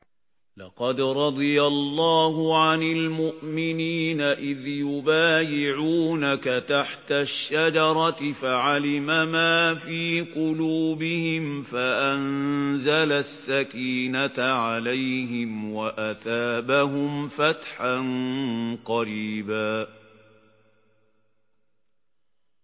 ۞ لَّقَدْ رَضِيَ اللَّهُ عَنِ الْمُؤْمِنِينَ إِذْ يُبَايِعُونَكَ تَحْتَ الشَّجَرَةِ فَعَلِمَ مَا فِي قُلُوبِهِمْ فَأَنزَلَ السَّكِينَةَ عَلَيْهِمْ وَأَثَابَهُمْ فَتْحًا قَرِيبًا